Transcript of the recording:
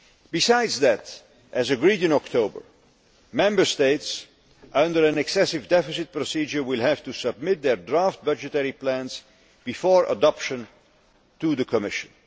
Besides that, as agreed in October, Member States under an excessive deficit procedure will have to submit their draft budgetary plans before adoption to the Commission.